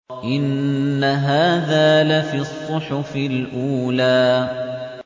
إِنَّ هَٰذَا لَفِي الصُّحُفِ الْأُولَىٰ